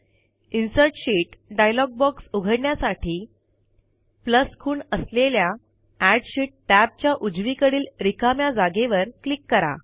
insert sheet dialogue box उघडण्यासाठी खूण असलेल्या एड शीत टॅबच्या उजवीकडील रिकाम्या जागेवर क्लिक करा